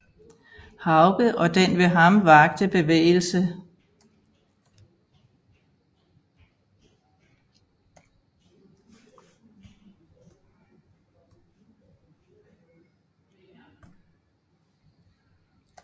Hauge og den ved ham vakte bevægelse